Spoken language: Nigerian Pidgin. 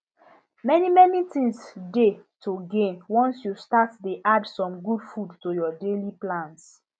many many things dey to gain once you start dey add some good food to your daily plans